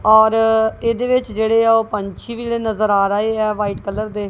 ਔਰ ਏਹਦੇ ਵਿੱਚ ਜੇਹੜੇਆ ਓਹ ਪੰਛੀ ਵੀ ਜੇਹੜੇ ਨਜਰ ਆ ਰਹੇ ਹਾਂ ਵ੍ਹਾਈਟ ਕਲਰ ਦੇ।